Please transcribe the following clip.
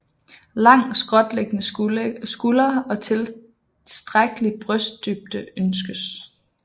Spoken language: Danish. Lang skråtliggende skulder og tilstrækkelig brystdybde ønskes